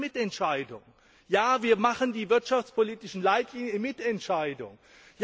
Wir machen das in Mitentscheidung. Ja, wir legen die wirtschaftspolitischen Leitlinien in Mitentscheidung